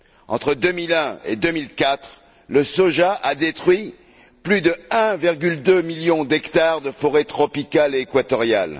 Entre 2001 et 2004, le soja a détruit plus de 1,2 million d'hectares de forêts tropicale et équatoriale.